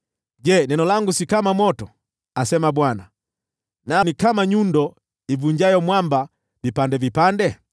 “Je, neno langu si kama moto,” asema Bwana , “na kama nyundo ivunjayo mwamba vipande vipande?